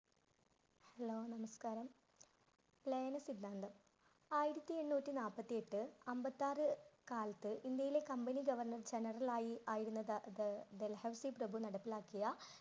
Hello, നമസ്കാരം. . ആയിരത്തി എണ്ണൂറ്റി നാൽപ്പത്തി എട്ട് അമ്പത്താറ് കാലത്ത് ഇന്ത്യയിലെ company general general ആയി ആയിരുന്ന ഡൽഹൌസി പ്രഭു നടപ്പിലാക്കിയ